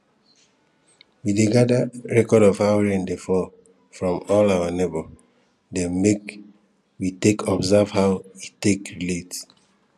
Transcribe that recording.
we dey gadir record of how rain dey fall from all our neighbour dem make we take observe how e take relate